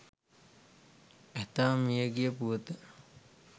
ඇතා මියගිය පුවත